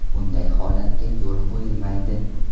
Bunday holatga yo‘l qo‘yilmaydi.